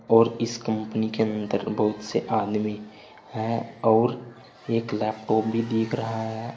और इस कंपनी के अंदर बहुत से आदमी हैं और एक लैपटॉप भी दिख रहा है।